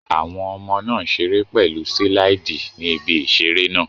Àwọn ọmọ náà ń ṣeré pẹ̀lú síláìdì ní ibi ìseré náà